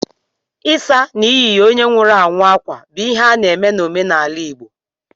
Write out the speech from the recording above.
Ịsa na iyi ye onye nwụrụ anwụ akwa bụ ihe a na-eme n'omenala igbo.